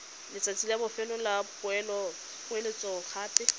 letsatsi la bofelo la poeletsogape